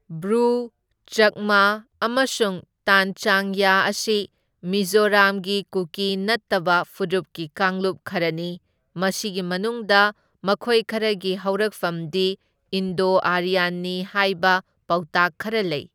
Brew, Chakma ꯑꯃꯁꯨꯡ ꯇꯥꯟꯆꯥꯡꯌꯥ ꯑꯁꯤ ꯃꯤꯖꯣꯔꯥꯝꯒꯤ ꯀꯨꯀꯤ ꯅꯠꯇꯕ ꯐꯨꯔꯨꯞꯒꯤ ꯀꯥꯡꯂꯨꯞ ꯈꯔꯅꯤ, ꯃꯁꯤꯒꯤ ꯃꯅꯨꯡꯗ ꯃꯈꯣꯏ ꯈꯔꯒꯤ ꯍꯧꯔꯛꯐꯝꯗꯤ ꯏꯟꯗꯣ ꯑꯥꯔꯤꯌꯥꯟꯅꯤ ꯍꯥꯢꯕ ꯄꯥꯎꯇꯥꯛ ꯈꯔ ꯂꯩ꯫